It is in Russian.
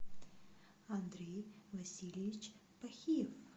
андрей васильевич пахиев